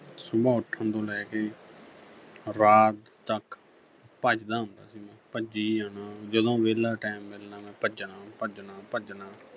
ਸੁਬਹ ਉੱਠਣ ਤੋਂ ਲੈ ਕੇ ਰਾਤ ਤੱਕ ਭੱਜਦਾ ਹੁੰਦਾ ਸੀ ਮੈਂ ਭੱਜੀ ਜਾਣਾ ਜਦੋਂ ਵਿਹਲਾ time ਮਿਲਣਾ ਮੈਂ ਭੱਜਣਾ, ਭੱਜਣਾ, ਭੱਜਣਾ